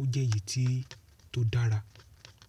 ó jẹ́ èyí tí to dára.